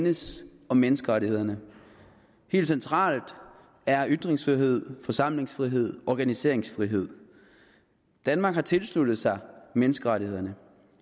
enes om menneskerettighederne helt centralt er ytringsfrihed forsamlingsfrihed og organiseringsfrihed danmark har tilsluttet sig menneskerettighederne